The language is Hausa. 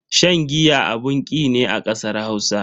Shan giya abun ki ne a kasar Hausa.